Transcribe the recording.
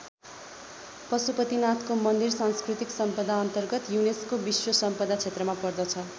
पशुपतिनाथको मन्दिर सांस्कृतिक सम्पदाअन्तर्गत युनेस्को विश्व सम्पदा क्षेत्रमा पर्दछ।